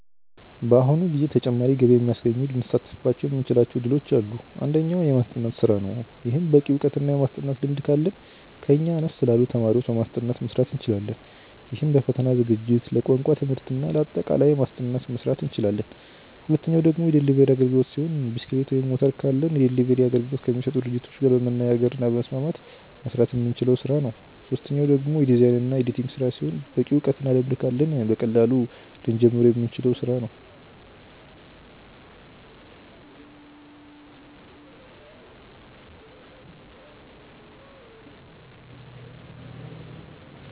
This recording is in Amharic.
በአሁኑ ጊዜ ተጨማሪ ገቢ የሚያስገኙ ልንሳተፍባቸው የምንችላቸው እድሎች አሉ። አንደኛው። የማስጠናት ስራ ነው። ይህም በቂ እውቀት እና የማስጠናት ልምድ ካለን ከኛ አነስ ላሉ ተማሪዎች በማስጠናት መስራት እንችላለን። ይህም ለፈተና ዝግጅት፣ ለቋንቋ ትምህርት እና ለአጠቃላይ ማስጠናት መስራት እንችላለን። ሁለተኛው ደግሞ የዴሊቨሪ አግልግሎት ሲሆን ብስክሌት ወይም ሞተር ካለን የዴሊቨሪ አገልግሎት ከሚሰጡ ድርጅቶች ጋር በመነጋገር እና በመስማማት መስራት የምንችለው ስራ ነው። ሶስተኛው ደግሞ የዲዛይን እና የኤዲቲንግ ስራ ሲሆን በቂ እውቀት እና ልምድ ካለን በቀላሉ ልንጀምረው የምንችለው ስራ ነው።